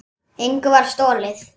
Engu var stolið.